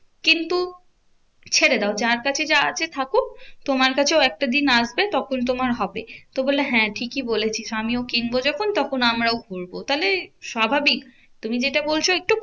কিন্তু ছেড়ে দাও যার কাছে যা আছে থাকুক তোমার কাছেও একটা দিন আসবে তখন তোমার হবে। তো বললো হ্যাঁ ঠিকই বলেছিস আমিও কিনবো যখন তখন আমরাও ঘুরবো। তাহলে স্বাভাবিক তুমি যেটা বলছো একটু